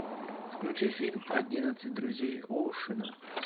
включи фильм одиннадцать друзей оушена